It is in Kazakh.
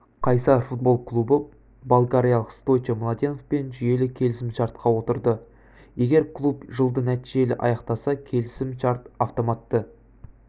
қайсар футбол клубы болгариялық стойчо младеновпен жүйелі келісім-шартқа отырды егер клуб жылды нәтижелі аяқтаса келісім-шарт автоматты